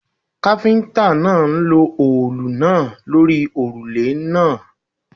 Káfíntà náà ń lo òòlù náà lórí òrùlé náà.